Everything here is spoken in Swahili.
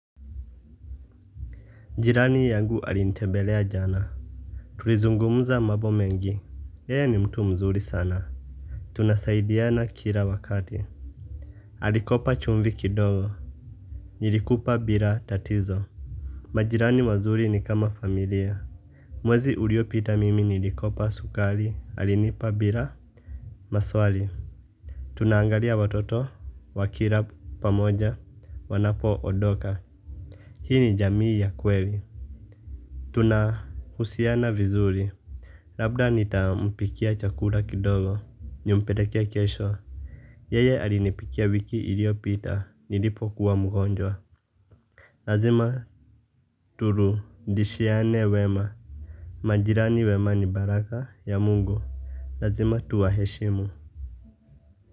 Jirani yangu alinitembelea jana tulizungumza mambo mengi yeye ni mtu mzuri sana tunasaidiana kila wakati alikopa chumvi kidogo nilikupa bila tatizo majirani wazuri ni kama familia mwezi uliopita mimi nilikopa sukari alinipa bila maswali tunaangalia watoto wa kila pamoja wanapo ondoka hii ni jamii ya kweli tunahusiana vizuri labda nitampikia chakula kidogo nimpelekee kesho. Yeye alinipikia wiki ilioyopita nilipo kuwa mgonjwa. Lazima turudishiane wema. Majirani wema ni baraka ya mungu. Lazima tuwa heshimu.